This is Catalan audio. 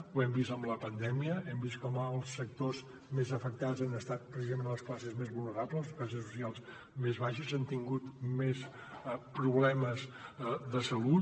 ho hem vist amb la pandèmia hem vist com els sectors més afectats han estat precisament les classes més vulnerables les classes socials més baixes han tingut més problemes de salut